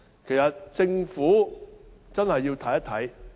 事實上，政府真的要檢視問題。